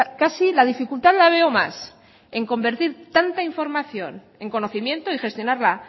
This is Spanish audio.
casi la dificultad la veo más en convertir tanta información en conocimiento y gestionarla